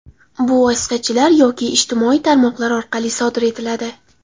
Bu vositachilar yoki ijtimoiy tarmoqlar orqali sodir etiladi.